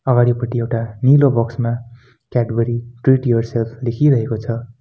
अगाडिपट्टि एउटा नीलो बक्स मा कैडबरी ट्रीट युवरसेल्फ लेखिरहेको छ।